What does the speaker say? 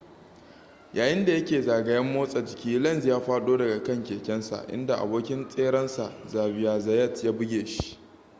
yayin da ya ke zagayen motsa jiki lenz ya faɗo daga kan kekensa inda abokin tserensa xavier zayat ya buge shi